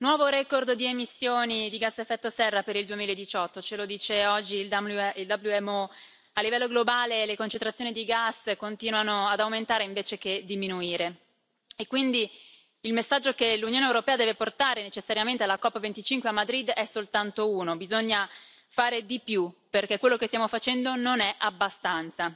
Signora Presidente, onorevoli colleghi, nuovo record di emissioni di gas a effetto serra per il 2018, ce lo dice oggi il WMO. A livello globale le concentrazioni di gas continuano ad aumentare invece che diminuire. Il messaggio che quindi l'Unione europea deve portare necessariamente alla COP25 a Madrid è soltanto uno bisogna fare di più, perché quello che stiamo facendo non è abbastanza.